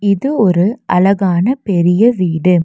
இது ஒரு அழகான பெரிய வீடு.